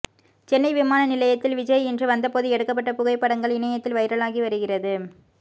சென்னை விமான நிலையத்தில் விஜய் இன்று வந்தபோது எடுக்கப்பட்ட புகைப்படங்கள் இணையத்தில் வைரலாகி வருகிறது